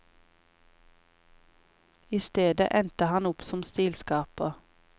I stedet endte han opp som stilskaper.